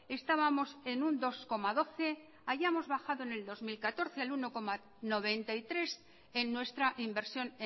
estábamos en un dos coma doce hayamos bajado en el dos mil catorce al uno coma noventa y tres en nuestra inversión